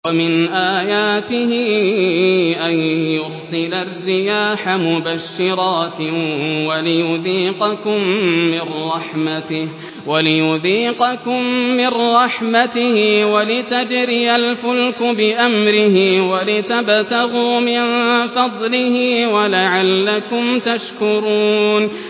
وَمِنْ آيَاتِهِ أَن يُرْسِلَ الرِّيَاحَ مُبَشِّرَاتٍ وَلِيُذِيقَكُم مِّن رَّحْمَتِهِ وَلِتَجْرِيَ الْفُلْكُ بِأَمْرِهِ وَلِتَبْتَغُوا مِن فَضْلِهِ وَلَعَلَّكُمْ تَشْكُرُونَ